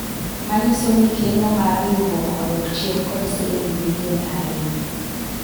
manyiso ni keno me riwruok odok chien kod siling milion ariyo